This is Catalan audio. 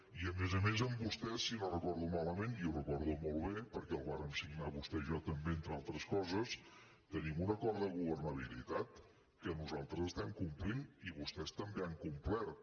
i a més a més amb vostès si no ho recordo malament i ho recordo molt bé perquè el vàrem signar vostè i jo també entre altres coses tenim un acord de governabilitat que nosaltres estem complint i vostès també han complert